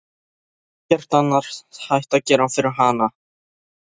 Það er ekkert annað hægt að gera fyrir hana.